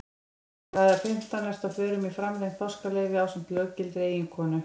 Eftir aðra fimmtán ertu á förum í framlengt páskaleyfi ásamt löggiltri eiginkonu.